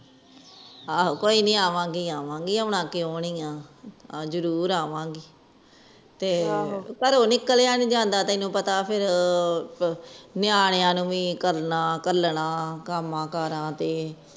ਆਹੋ ਕੋਇਨੀ ਆਵਾ ਗਈ ਆਵਾ ਜਿਉ ਆਉਣਾ ਕਿਉਣੀ ਆ ਘਰੋਂ ਨਿਕਲਿਆ ਨੀ ਜਾਂਦਾ ਤੈਨੂੰ ਪਤਾ ਫੇਰ ਨਿਆਣਿਆਂ ਨੂੰ ਵੀ ਕਰਨਾ ਘਾਲਣਾ ਕਾਮ ਕਾਰਾ ਤੇ